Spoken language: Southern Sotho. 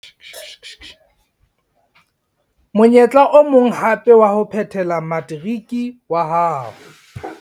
Monyetla o mong hape wa ho phethela materiki wa hao